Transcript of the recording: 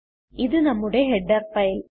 ഇത് നമ്മുടെ header file